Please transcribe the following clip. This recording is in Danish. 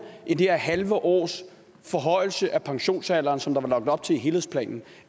end det her halve års forhøjelse af pensionsalderen som der var lagt op til i helhedsplanen